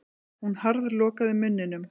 Hún harðlokaði munninum.